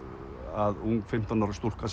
að ung fimmtán ára stúlka